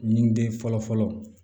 Ɲininiden fɔlɔ fɔlɔ